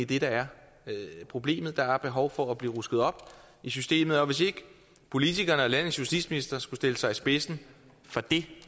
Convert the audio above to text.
det der er problemet der er behov for at der bliver rusket op i systemet og hvis ikke politikerne og landets justitsminister skulle stille sig i spidsen for det